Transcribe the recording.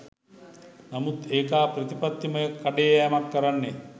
නමුත් ඒකා ප්‍රතිපත්තිමය කඩේ යෑමක් කරන්නේ.